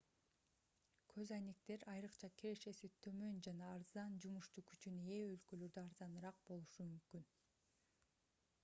көз айнектер айрыкча кирешеси төмөн жана арзан жумушчу күчүнө ээ өлкөлөрдө арзаныраак болушу мүмкүн